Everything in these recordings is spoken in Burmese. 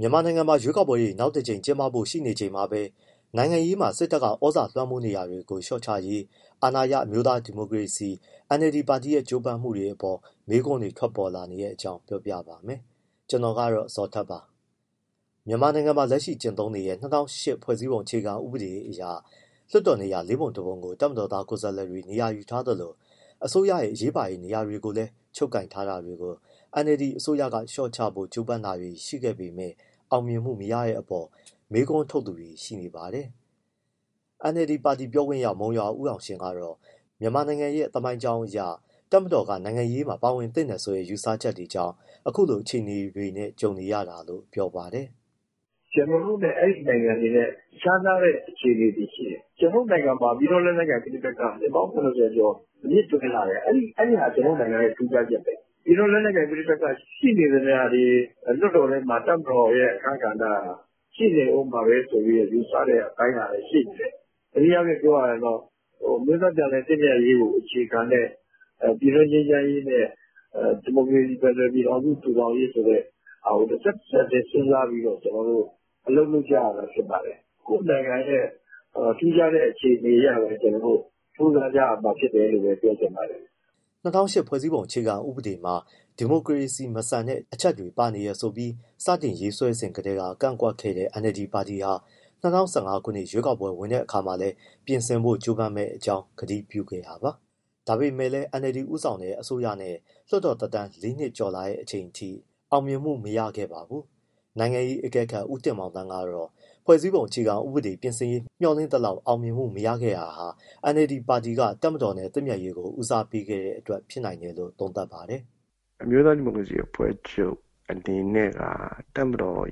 မြန်မာနိုင်ငံမှာ ရွေးကောက်ပွဲတွေ နောက်တကြိမ် ကျင်းပဖို့ ရှိနေချိန်မှာပဲ နိုင်ငံရေးမှာ စစ်တပ်က သြဇာလွှမ်းမိုးနေတာတွေကို လျှော့ချရေး အာဏာရ အမျိုးသားဒီမိုကရေစီအဖွဲ့ချုပ် NLD ပါတီရဲ့ ကြိုးပမ်းမှုတွေအပေါ် မေးခွန်းတွေ ထွက်ပေါ်နေတဲ့အကြောင်းကို ဗွီအိုအေမြန်မာပိုင်းသတင်းထောက် ကိုဇော်ထက်က ပြောပြပေးပါမယ်။ မြန်မာနိုင်ငံမှာ လက်ရှိကျင့်သုံးနေတဲ့ ၂၀၀၈ ခုနှစ် ဖွဲ့စည်းပုံအခြေခံ ဥပဒေအရ လွှတ်တော်နေရာ ၄ ပုံ ၁ ပုံကို တပ်မတော်သား ကိုယ်စားလှယ်တွေ နေရာယူထားသလို အစိုးရရဲ့ အရေးပါတဲ့ နေရာတွေကိုလည်း ချုပ်ကိုင်ထားတာတွေကို NLD အစိုးရက လျှော့ချဖို့ ကြိုးပမ်းတာတွေ ရှိပေမဲ့ အောင်မြင်မှုမရတဲ့အပေါ် မေးခွန်းထုတ်သူတွေ ရှိနေပါတယ်။ NLD ပါတီ ပြောခွင့်ရ မုံရွာဦးအောင်ရှင်ကတော့ မြန်မာနိုင်ငံရဲ့ သမိုင်းကြောင်းအရ တပ်မတော်က နိုင်ငံရေးမှာ ပါဝင်သင့်တယ်ဆိုတဲ့ ယူဆချက်တွေကြောင့် အခုလို အခြေအနေနဲ့ ကြုံနေရတာလို့ ပြောပါတယ်။ “ကျနော်တို့နဲ့ အဲဒီနိုင်ငံတွေက ခြားနားတဲ့ အခြေအနေတွေရှိတယ်။ ကျနော်တို့နိုင်ငံမှာ ပြည်တွင်းလက်နက်ကိုင် ပဋိပက္ခ နှစ်ပေါင်း ၇၀ ကျော်အမြစ်တွယ်လာတယ်။ အဲဒါဟာ ကျနော်တို့နိုင်ငံရဲ့ ထူးခြားချက်ပဲ။ ပြည်တွင်းလက်နက်ကိုင် ရှိနေသမျှတော့ လွှတ်တော်ထဲမှာ တပ်မတော်ရဲ့ အခန်းကဏ္ဍက ရှိနေဦးမှာပဲဆိုတဲ့ ယူဆတဲ့အပိုင်းကလည်း ရှိနေတယ်။ တနည်းအားဖြင့်ပြောရရင်တော့ အမျိုးသားပြန်လည် သင့်မြတ်ရေးကိုအခြေခံတဲ့ ပြည်တွင်းငြိမ်းချမ်းရေးနဲ့ ဒီမိုကရေစီ ဖက်ဒရယ်ပြည်ထောင်စု တည်ထောင်ရေးဆိုတဲ့ တဆက်၊ တဆက်တည်း စဉ်းစားပြီးတော့ အလုပ်လုပ်ကြရတာ ဖြစ်ပါတယ်။ ကိုယ့်နိုင်ငံရဲ့ ထူးခြားတဲ့ အခြေအနေအရပဲ ကြိုးစားကြရတာဖြစ်တယ်လို့ ပြောချင်ပါတယ်။” ၂၀၀၈ ခုနှစ် ဖွဲ့စည်းပုံ အခြေခံဥပဒေမှာ ဒီမိုကရေစီမဆန်တဲ့ အချက်တွေ ပါဝင်နေတယ်ဆိုပြီး စတင်ရေးဆွဲစဉ်ကတည်းက ကန့်ကွက်ခဲ့တဲ့ NLD ပါတီဟာ ၂၀၁၅ ခုနှစ် ရွေးကောက်ပွဲဝင်တဲ့အခါမှာလည်း ပြင်ဆင်ဖို့ ကြိုးပမ်းမယ့်အကြောင်း ကတိပြုခဲ့တာပါ။ ဒါပေမဲ့လည်း NLD ဦးဆောင်တဲ့ အစိုးရနဲ့ လွှတ်တော်သက်တမ်း ၄ နှစ်ကျော်လာတဲ့ အချိန်အထိ အောင်မြင်မှုတော့ မရခဲ့ပါဘူး။ နိုင်ငံရေးအကဲခတ် ဦးတင်မောင်သန်းကတော့ ဖွဲ့စည်းပုံအခြေခံဥပဒေ ပြင်ဆင်ရေး မျှော်လင့်သလောက် အောင်မြင်မှုမရခဲ့တာဟာ NLD ပါတီက တပ်မတော်နဲ့ သင့်မြတ်ရေးကို ဦးစားပေးခဲ့တဲ့အတွက် ဖြစ်နိုင်တယ်လို့ သုံးသပ်ပါတယ်။ “အမျိုးသား ဒီမိုကရေစီအဖွဲ့ချုပ် အနေနဲ့က တပ်မတော်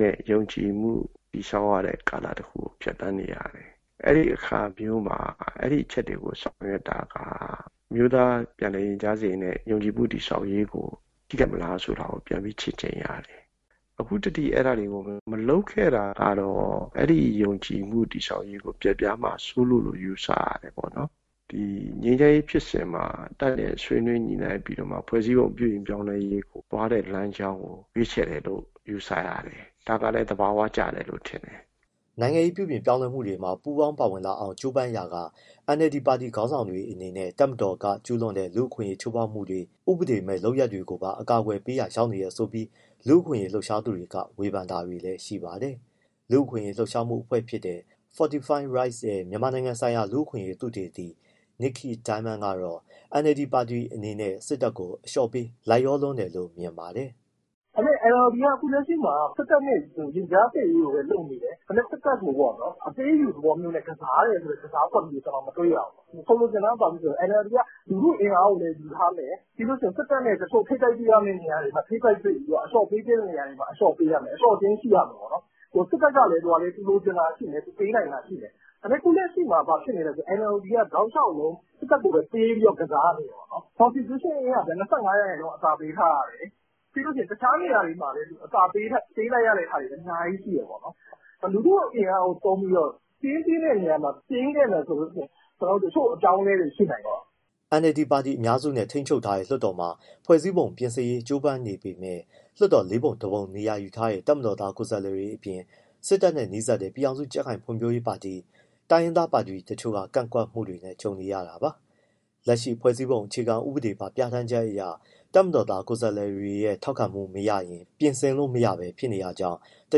နဲ့ ယုံကြည်မှု တည်ဆောက်တဲ့ကာလကို ဖြတ်သန်းနေရတယ်။ အဲဒီအခါမျိုးမှာ အဲဒီအချက်တွေကို ဆောင်ရွက်တာက အမျိုးသားပြန်လည်သင့်မြတ်ရေးနဲ့ ယုံကြည်မှုတည်ဆောက်ရေးကို ထိခိုက်မလားဆိုတာကို ပြန်ပြီးချင့်ချိန်ရတယ်။ အခုထိ အဲဒါတွေကို မလုပ်ခဲ့တာကတော့ အဲဒီယုံကြည်မှုတည်ဆောက်ရေးကို ပျက်ပြားမှာစိုးလို့လို့ ယူဆရတယ်ပေါ့နော်။ ငြိမ်းချမ်းရေးဖြစ်စဉ်မှာ တပ်နဲ့ ဆွေးနွေးညှိနှိုင်းပြီးတော့မှ ဖွဲ့စည်းပုံပြုပြင်ပြောင်းလဲရေး သွားတဲ့လမ်းကြောင်းကို ရွေးချယ်တယ်လို့ ယူဆရတယ်။ ဒါကလည်း သဘာဝကျတယ်လို့ ထင်တယ်။” နိုင်ငံရေး ပြုပြင်ပြောင်းလဲမှုတွေမှာ ပူးပေါင်းပါဝင်လာအောင် ကြိုးပမ်းရာက NLD ပါတီခေါင်းဆောင်တွေအနေနဲ့ တပ်မတော်က ကျုးလွန်တဲ့ လူ့အခွင့်အရေး ချိုးဖောက်မှုတွေ၊ ဥပဒေမဲ့လုပ်ရပ်တွေကိုပါ အကာအကွယ်ပေးရာ ရောက်နေတယ်ဆိုပြီး လူ့အခွင့်အရေး လှုပ်ရှားသူတွေက ဝေဖန်တာတွေလည်း ရှိပါတယ်။ လူ့အခွင့်အရေးလှုပ်ရှားမှုအဖွဲ့တခုဖြစ်တဲ့ Fortify Rights ရဲ့ မြန်မာနိုင်ငံဆိုင်ရာ လူ့အခွင့်အရေးသုတေသီ Nickey Diamond ကတော့ NLD ပါတီအနေနဲ့ စစ်တပ်ကို အလျှော့ပေး လိုက်လျောလွန်းတယ်လို့ မြင်ပါတယ်။ “ဒါပေမဲ့ NLD က အခုလက်ရှိမှာ စစ်တပ်နဲ့ ရင်ကြားစေ့ရေးကိုပဲ လုပ်နေတယ်။ ဒါပေမဲ့ စစ်တပ်ကို အပေးအယူသဘောမျိုးကစားတယ်ဆိုတဲ့ ကစားကွက်မျိုး မတွေ့ရဘူး။ ဆိုလိုချင်တာက NLD က လူထုအင်အားကိုလည်း ယူထားမယ်၊ စစ်တပ်နဲ့ ထိပ်တိုက်တွေ့ရမယ့် တချို့နေရာတွေမှာ ထိပ်တိုက်တွေ့ပြီးတော့ အလျှော့ပေးရမယ့်နေရာတွေမှာ အလျှော့ပေးရမယ်။ အလျှော့အတင်းရှိရမယ်ပေါ့။ စစ်တပ်ကလည်း သူလိုချင်တာရှိမယ်၊ သူပေးနိုင်တာရှိမယ်။ အခုလက်ရှိမှာ NLD က တောက်လျှောက်လုံး စစ်တပ်ကိုပဲ ပေးပြီးကစားနေတယ်ပေါ့။ Constitution ၂၅ ရာခိုင်နှုန်း အသာပေးထားရတယ်၊ တခြားနေရာတွေမှာလည်း အသာပေးလိုက်ရတာတွေ အများကြီးရှိတယ်ပေါ့။ လူထုအင်အားကို သုံးပြီးတော့ တင်းသင့်တဲ့နေရာမှာ တင်းခဲ့မယ်ဆိုရင် တချို့အပြောင်းအလဲတွေ ရှိနိုင်တယ်ပေါ့။” NLD ပါတီက အများစုနဲ့ ထိန်းချုပ်ထားတဲ့ လွှတ်တော်မှာ ဖွဲ့စည်းပုံပြင်ရေး ကြိုးပမ်းနေပေမဲ့ လွှတ်တော်မှာ ၄ ပုံ ၁ ပုံ နေရာယူထားတဲ့ တပ်မတော်သား ကိုယ်စားလှယ်တွေအပြင်၊ စစ်တပ်နဲ့နီးစပ်တဲ့ ပြည်ထောင်စု ကြံ့ခိုင်ရေးနဲ့ ဖွံ့ဖြိုးရေးပါတီ၊ တိုင်းရင်းသားပါတီ တချို့ကပါ ကန့်ကွက်မှုတွေနဲ့ ကြုံနေရတာပါ။ လက်ရှိဖွဲ့စည်းပုံအခြေခံဥပဒေပါ ပြဌာန်းချက်အရ တပ်မတော်သား ကိုယ်စားလှယ်တွေရဲ့ ထောက်ခံမှု မရရင် ပြင်ဆင်လို့မရနိုင်ဘဲ ဖြစ်နေတာကြောင့် တ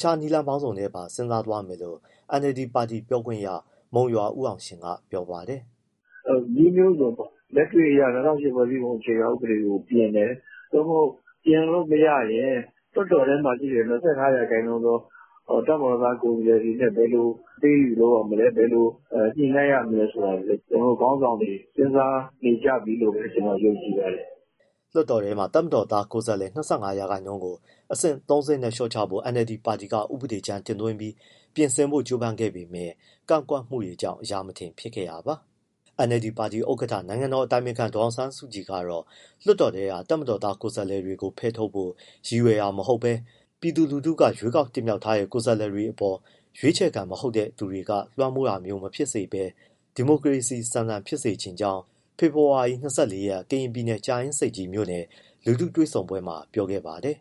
ခြားနည်းလမ်းပေါင်းစုံကိုပါ စဉ်းစားသွားမယ်လို့ NLD ပါတီ ပြောခွင့်ရပုဂ္ဂိုလ် မုံရွာအောင်ရှင်က ပြောပါတယ်။ “နည်းမျိုးစုံပေါ့။ လက်တွေ့အရ ၂၀၀၈ ဖွဲ့စည်းပုံအခြေခံဥပဒေကို ပြင်တယ်၊ သို့မဟုတ် ပြင်လို့မရရင် လွှတ်တော်ထဲမှာရှိတဲ့ ၂၅ ရာခိုင်နှုန်းသော တပ်မတော်သား ကိုယ်စားလှယ်တွေနဲ့ ဘယ်လိုအပေးအယူလုပ်ရမလဲ၊ ဘယ်လို ညှိနှိုင်းရမလဲဆိုတာတွေ ကျနော်တို့ ခေါင်းဆောင်တွေ စဉ်းစားနေကြပြီလို့ပဲ ကျနော်ယုံကြည်ပါတယ်။” လွှတ်တော်ထဲမှာ တပ်မတော်သားကိုယ်စားလှယ် ၂၅ ရာခိုင်နှုန်းကို အဆင့် ၃ ဆင့်နဲ့ လျှော့ချဖို့ NLD ပါတီက ဥပဒေကြမ်း တင်သွင်းပြီး ပြင်ဆင်ဖို့ ကြိုးပမ်းခဲ့ပေမဲ့ ကန့်ကွက်မှုတွေကြောင့် အရာမထင်ဖြစ်ခဲ့တာပါ။ NLD ပါတီဥက္ကဋ္ဌ နိုင်ငံတော်အတိုင်ပင်ခံပုဂ္ဂိုလ် ဒေါ်အောင်ဆန်းစုကြည်ကတော့ လွှတ်တော်ထဲက တပ်မတော်သား ကိုယ်စားလှယ်တွေကို ဖယ်ထုတ်ဖို့ ရည်ရွယ်တာမဟုတ်ဘဲ ပြည်သူလူထုက ရွေးချယ်တင်မြှောက်ထားတဲ့ ကိုယ်စားလှယ်တွေအပေါ် ရွေးချယ်ခံ မဟုတ်တဲ့သူတွေက လွှမ်းမိုးတာမျိုးမဖြစ်စေပဲ ဒီမိုကရေစီဆန်ဆန် ဖြစ်စေချင်ကြောင်း ဖေဖော်ဝါရီ ၂၄ ရက် ကရင်ပြည်နယ်၊ ကြာအင်းဆိပ်ကြီးမြို့နယ် လူထုတွေ့ဆုံပွဲမှာ ပြောခဲ့ပါတယ်